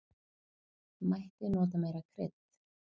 Mætti nota meira krydd.